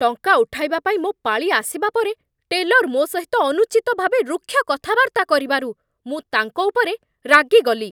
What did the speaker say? ଟଙ୍କା ଉଠାଇବା ପାଇଁ ମୋ ପାଳି ଆସିବା ପରେ ଟେଲର୍ ମୋ ସହିତ ଅନୁଚିତ ଭାବେ ରୁକ୍ଷ କଥାବାର୍ତ୍ତା କରିବାରୁ ମୁଁ ତାଙ୍କ ଉପରେ ରାଗିଗଲି